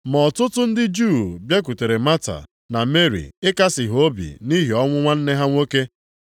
Ma ọtụtụ ndị Juu bịakwutere Mata na Meri ịkasị ha obi nʼihi ọnwụ nwanne ha nwoke.